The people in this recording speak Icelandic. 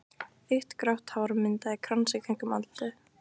Þykkt grátt hár myndaði krans í kringum andlitið.